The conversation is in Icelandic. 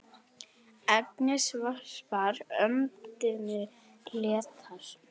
Agnes varpar öndinni léttar.